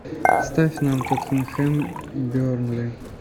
ставь нам тоттенхэм бернли